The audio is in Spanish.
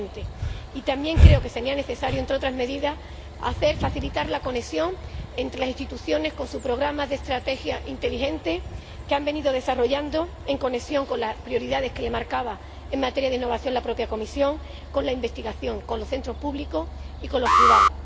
2020. Y también creo que sería necesario, entre otras medidas, facilitar la conexión entre las instituciones y los programas de estrategia inteligente que han venido desarrollando en relación con las prioridades que les marcaba en materia de innovación la propia Comisión con la investigación, con los centros públicos y con los privados.